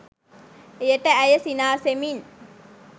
එයට ඇය සිනාසෙමින්